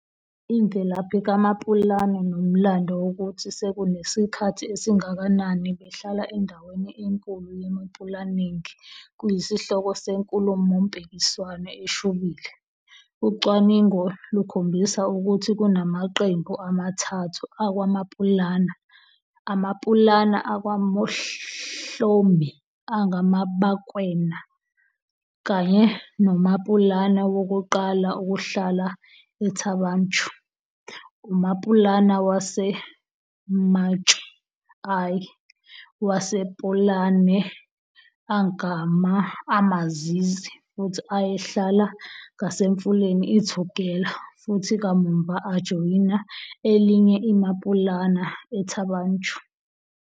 Imvelaphi kaMaPulana nomlando wokuthi sekunesikhathi esingakanani behlala endaweni enkulu yeMapulaneng kuyisihloko senkulumompikiswano eshubile. Ucwaningo lukhombisa ukuthi kunamaqembu amathathu akwaMapulana, aMapulana akwaMohlomi angamaBakwena kanye noMapulana wokuqala ukuhlala eThaba Chueu, uMapulana waseMatshwe I, wasePulane angama-Amazizi futhi ayehlala ngasemfuleni iTugela futhi kamuva ajoyina elinye iMapulana eThaba Chueu.